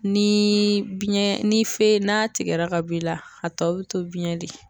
Ni biɲɛ ni n'a tigɛra ka b'i la a tɔ bi to biyɛn de